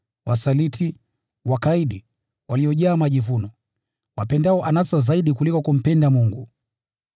wasaliti, wakaidi, waliojaa majivuno, wapendao anasa zaidi kuliko kumpenda Mungu: